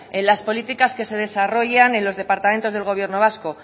en las políticas que se desarrollan en los departamentos del gobierno vasco